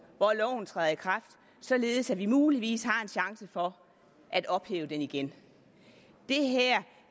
hvor loven træder i kraft således at vi muligvis har en chance for at ophæve den igen